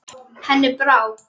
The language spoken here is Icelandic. Henni brá.